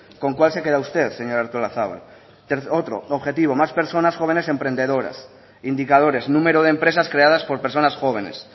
con cuál se queda usted señora artolazabal otro objetivo más personas jóvenes emprendedoras indicadores número de empresas creadas por personas jóvenes